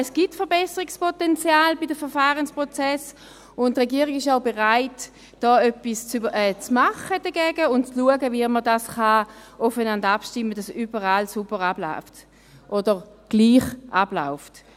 Es gibt Verbesserungspotenzial bei den Verfahrensprozessen, und die Regierung ist auch bereit, etwas dagegen zu machen und zu schauen, wie man das aufeinander abstimmen kann, damit überall alles sauber abläuft oder gleich abläuft.